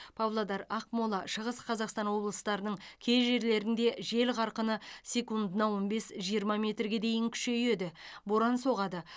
павлодар ақмола шығыс қазақстан облыстарының кей жерлерінде жел қарқыны секундына он бес жиырма метрге дейін күшейеді боран соғады